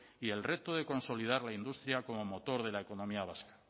y el reto de consolidar la industria como motor de la economía vasca